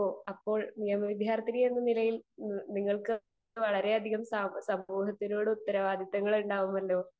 speaker 2 ഓഹ് നിയമ വിദ്യാർത്ഥിനി എന്നുള്ള നിലയിൽ നിങ്ങൾക്ക് സമൂഹത്തോട് വളരെയധികം ഉത്തരവാദിത്തം ഉണ്ടാവുമല്ലോ